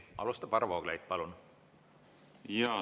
Alustab Varro Vooglaid, palun!